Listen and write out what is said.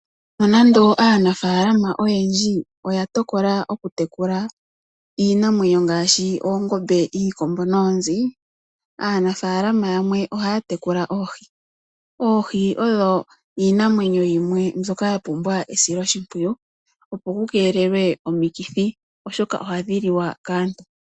Nonando aanafalama oyendji oya tokola okutekula iinamwenyo ngaashi, oongombe, iikombo noonzi. Aanafalama yamwe ohaya tekula oohi. Oohi odho iinamwenyo yimwe mbyoka yapumbwa esiloshimpwiyu, opo kukeelelwe omikithi, oshoka ohadhi liwa kaantu.